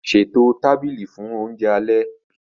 Ṣètò tábìlì fún oúnjẹ alẹ́